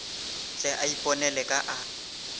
tle a iponele ka a